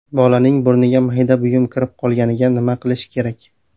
Bolaning burniga mayda buyum kirib qolganida nima qilish kerak?